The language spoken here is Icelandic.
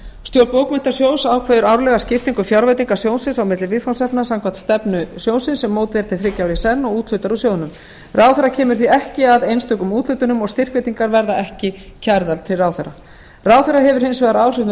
stjórn bókmenntasjóðs ákveður árlega skiptingu fjárveitinga sjóðsins á milli viðfangsefna samkvæmt stefnu sjóðsins sem mótuð er til þriggja ára í senn og úthlutar úr sjóðnum ráðherra kemur því ekki að einstökum úthlutunum og styrkveitingar verða ekki kærðar til ráðherra ráðherra hefur hins vegar áhrif með